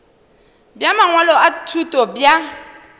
bja mangwalo a thuto bja